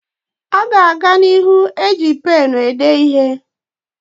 A ga-aga n'ihu eji penụ ede ihe.